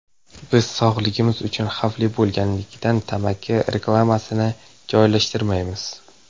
Biz sog‘lig‘imiz uchun xavfli bo‘lganligidan tamaki reklamasini joylashtirmaymiz.